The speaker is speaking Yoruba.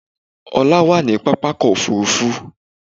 Ọlá wà ní pápákọ̀ òfurufú